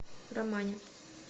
романе